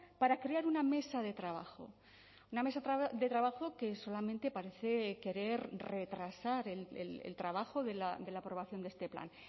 para crear una mesa de trabajo una mesa de trabajo que solamente parece querer retrasar el trabajo de la aprobación de este plan